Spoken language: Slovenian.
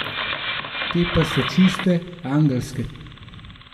Te pa so čiste, angelske.